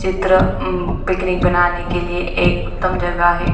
चित्र उम पिकनिक बनाने के लिए एक उत्तम जगह है।